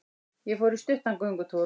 Ég fór í stuttan göngutúr.